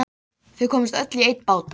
Ég mun koma þeim fyrir á afviknum stað.